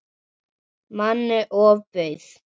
Manni ofbauð.